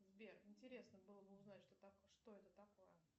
сбер интересно было бы узнать что это такое